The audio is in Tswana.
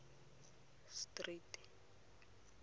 street